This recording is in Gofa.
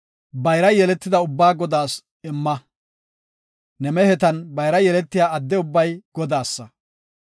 bayra yeletida ubbaa Godaas imma. Ne mehetan bayra yeletiya adde ubbay Godaasa.